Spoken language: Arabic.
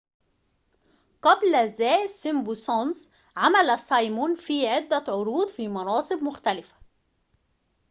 قبل ذا سيمبسونز عمل سايمون في عدة عروض في مناصب مختلفة